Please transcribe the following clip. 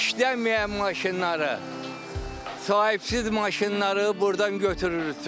İşləməyən maşınları, sahibsiz maşınları burdan götürürsün.